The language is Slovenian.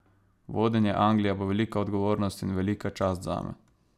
Vodenje Anglije bo velika odgovornost in velika čast zame.